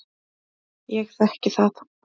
Ég þekki það.